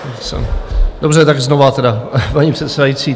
Dobře, tak znova tedy, paní předsedající.